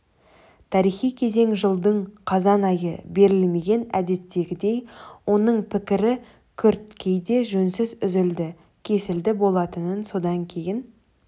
тарихи кезең жылдың қазан айы берілмеген әдеттегідей оның пікірі күрт кейде жөнсіз үзілді-кесілді болатын содан кейін